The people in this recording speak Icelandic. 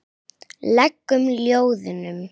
legum ljóðum.